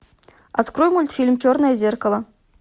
открой мультфильм черное зеркало